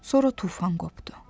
Sonra tufan qopdu.